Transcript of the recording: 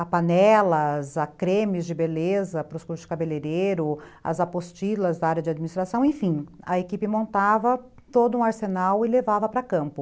a panelas, a cremes de beleza para os cursos de cabeleireiro, as apostilas da área de administração, enfim, a equipe montava todo um arsenal e levava para campo.